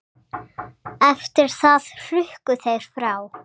Eftir það hrukku þeir frá.